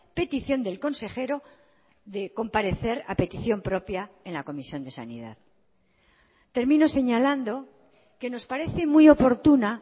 petición del consejero de comparecer a petición propia en la comisión de sanidad termino señalando que nos parece muy oportuna